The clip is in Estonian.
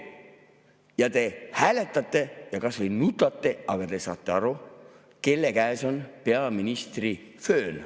Ja te hääletate ja kas või nutate, aga te saate aru, kelle käes on peaministri föön.